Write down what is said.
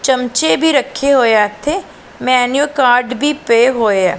ਚਮਚੇ ਵੀ ਰੱਖੇ ਹੋਇਆਂ ਇੱਥੇ ਮੈਂਨਿਊ ਕਾਰਡ ਵੀ ਪਏ ਹੋਏਆ।